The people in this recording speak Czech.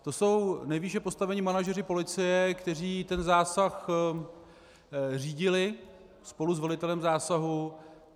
To jsou nejvýše postavení manažeři policie, kteří ten zásah řídili spolu s velitelem zásahu.